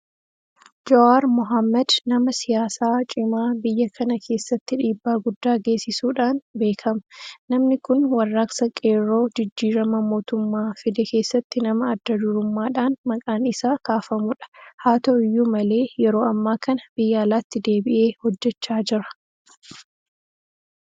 Jowaar Mohaammad nama siyaasaa cimaa biyya kana keessatti dhiibbaa guddaa geessisuudhaan beekama. Namni kun warraaqsa qeerroo jijjiirama mootummaa fide keessatti nama adda durummaadhaan maqaan isaa kaafamudha. Haata'u iyyuu malee yeroo ammaa kana biyya alaatti deebi'ee hojjechaa jira.